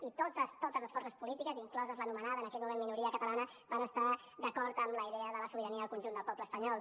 i totes totes les forces polítiques inclosa l’anomenada en aquell moment la minoria catalana van estar d’acord amb la idea de la sobirania al conjunt del poble espanyol